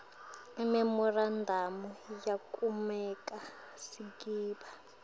imemorandamu yekumaka sigaba